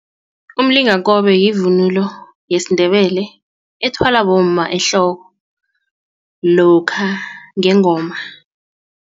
Umlingakobe yivunulo yesiNdebele ethwalwa bomma ehloko lokha ngengoma.